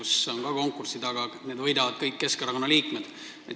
Seal on ka konkursid, aga kõik need võidavad Keskerakonna liikmed.